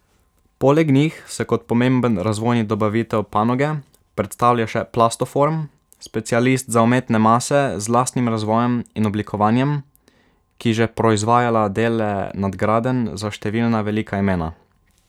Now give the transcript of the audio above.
Poleg njih se kot pomemben razvojni dobavitelj panoge predstavlja še Plastoform, specialist za umetne mase z lastnim razvojem in oblikovanjem, ki že proizvajala dele nadgradenj za številna velika imena.